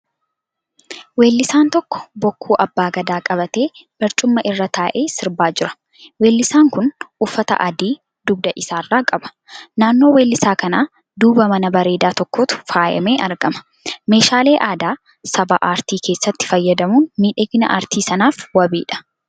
Weellisaan tokko bokkuu Abbaa Gadaa qabatee barcuma irra taa'ee sirbaa jira. Weellisaan kun uffata adii dugda isaarraa qaba. Naannoo weellisa kana duuba mana bareedaa tokkotu faayyamee argama. Meeshaalee aadaa sabaa aartii keessatti fayyadamuun miidhagina aartii sanaaf wabiidha.